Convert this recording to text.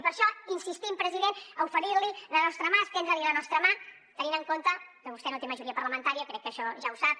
i per això insistim president a oferir li la nostra mà estendre li la nostra mà tenint en compte que vostè no té majoria parlamentària crec que això ja ho sap